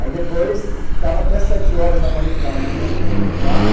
Aí depois ficava até sete horas da manhã, da manhã, todo mundo no bar.